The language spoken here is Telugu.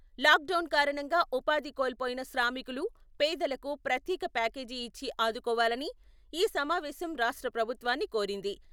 లాక్ డౌన్ కారణంగా ఉపాధి కోల్పోయిన శ్రామికులు, పేదలకు ప్రత్యేక ప్యాకేజి ఇచ్చి ఆదుకోవాలని ఈ సమావేశం రాష్ట్ర ప్రభుత్వాన్ని కోరింది.